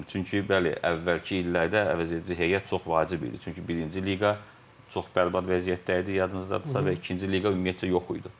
Çünki bəli, əvvəlki illərdə əvəzedici heyət çox vacib idi, çünki birinci liqa çox bərbad vəziyyətdə idi, yadınızdadırsa və ikinci liqa ümumiyyətcə yox idi.